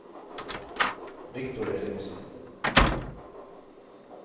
Victor Ellingsen